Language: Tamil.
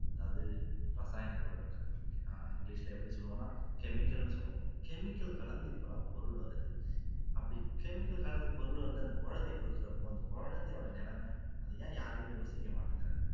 அதாவது ரசாயனப்பொருட்கள் english ல எப்படி சொல்லுவோம்னா chemical னு சொல்லுவோம் chemical கலந்து இப்போ எல்லாம் பொருள் வருது அப்படி chemical கலந்து பொருள் வந்து அந்த குழந்தைக்கு குடுக்குறப்போ அந்த குழந்தையோட நிலைமை அதை ஏன் யாருமே யோசிக்க மாட்டேங்குறாங்க